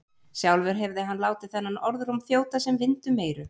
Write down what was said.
Sjálfur hefði hann látið þennan orðróm þjóta sem vind um eyru.